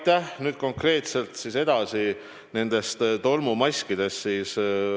Läheme nüüd konkreetselt edasi nende tolmumaskide teemaga.